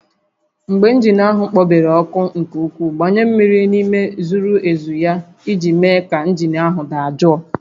Mgbe injin ahụ kpobere ọkụ nke ukwuu, gbanye mmiri n'ime zuru ezu ya iji mee ka injin ahụ dajụọ